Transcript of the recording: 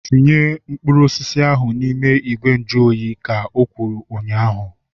Tinye mkpụrụ osisi ahu n'ime ìgwè nju oyi! Ka o kwuru ụnyaahụ